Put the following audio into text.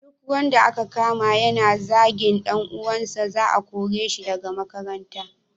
Duk wanda aka kama yana zagin dan uwansa, za a kore shi daga makaranta.